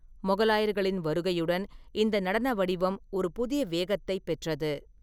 மொகலாயர்களின் வருகையுடன், இந்த நடன வடிவம் ஒரு புதிய வேகத்தைப் பெற்றது.